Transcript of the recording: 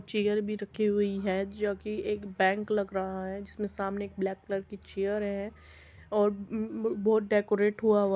chair भी रखी हुई है जो कि एक बैंक लग रहा है जिसमें सामने एक ब्लैक कलर की चेयर है और म्म्म बोर्ड डेकोरेट हुआ हुआ --